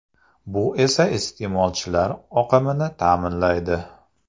Bu esa iste’molchilar oqimini ta’minlaydi.